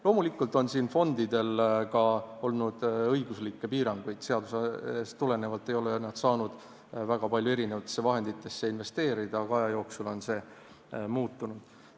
Loomulikult on siin fondidel ka olnud õiguslikke piiranguid – seadusest tulenevalt ei ole nad saanud väga palju erinevatesse vahenditesse investeerida –, aga aja jooksul on see muutnud.